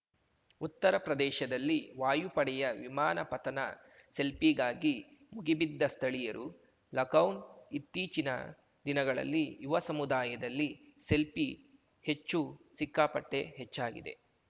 ಉತ್ತರಪ್ರದಲ್ಲಿ ವಾಯುಪಡೆಯ ವಿಮಾನ ಪತನ ಸೆಲ್ಫೀಗಾಗಿ ಮುಗಿಬಿದ್ದ ಸ್ಥಳೀಯರು ಲಖನೌ ಇತ್ತೀಚಿನ ದಿನಗಳಲ್ಲಿ ಯುವ ಸಮುದಾಯದಲ್ಲಿ ಸೆಲ್ಫೀ ಹೆಚ್ಚು ಸಿಕ್ಕಾಪಟ್ಟೆಹೆಚ್ಚಾಗಿದೆ